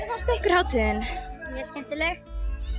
fannst ykkur hátíðin mjög skemmtilegt